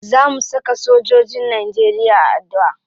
Za mu saka sojojin najeriya a addu'a.